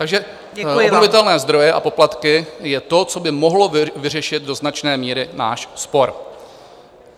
Takže obnovitelné zdroje a poplatky je to, co by mohlo vyřešit do značné míry náš spor.